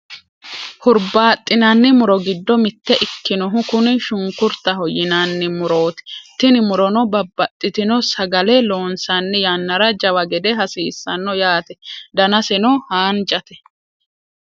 hurbaaxinanni muro giddo mitte ikkinohu kuni shunkurtaho yinanni murooti. tini murono babbaxitino sagale loonsanni yannara jawa gede hasiissano yate danaseno haanjate.